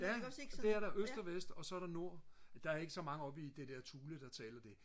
ja det er der øst og vest og så er der nord der er ikke så mange oppe i det der Thule der taler det